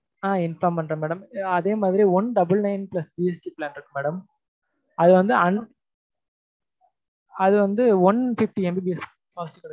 ஆஹ் inform பண்றேன் madam அதே மாதிரி one double nine plus GST இருக்கு madam அது வந்து one fifty MBPS fast கிடைக்கும்